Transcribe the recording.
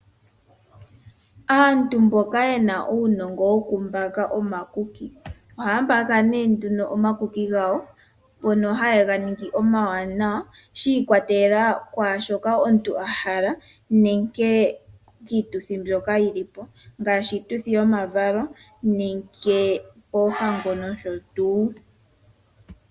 Aantu mboka ye na uunongo wokumbaka omakuki ohaya mbaka nduno omakuki gawo, ngono haye ga ningi omawanawa, shi ikwatelela kwaa shoka omuntu a hala nenge kiituthi mbyoka yi li po ngaashi iituthi yomavalo, oohango nosho tuu.